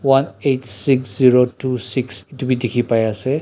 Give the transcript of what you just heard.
one eight six zero two six itu bi dikhi pai ase.